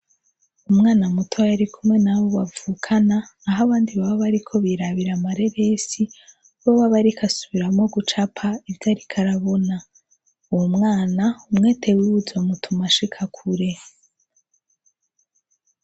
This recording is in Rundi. Umwana mutoya arikomwe nabo bavukana aho abandi baba bariko birabira amareresi wewe aba ariko asubiramwo gucapa ivyo ariko arabona uwo mwana umwete wiwe uzomutuma ashika kure.